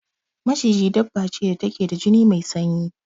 Maciji dabba ce da ke da jini mai sanyi.